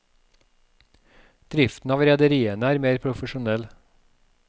Driften av rederiene er mer profesjonell.